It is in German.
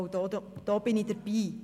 Auch da bin ich dabei.